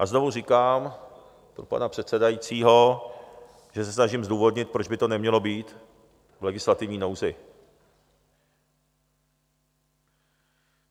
A znovu říkám pro pana předsedajícího, že se snažím zdůvodnit, proč by to nemělo být v legislativní nouzi.